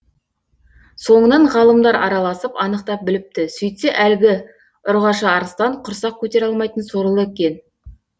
соңынан ғалымдар араласып анықтап біліпті сөйтсе әлгі ұрғашы арыстан құрсақ көтере алмайтын сорлы екен